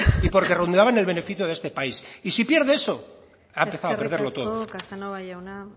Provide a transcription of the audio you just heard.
y porque redundaba en el beneficio de este país y si pierde eso ha empezado a perderlo todo eskerrik asko casanova jauna